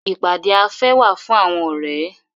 Ìpàdé afẹ́ wà fún àwọn ọ̀rẹ́.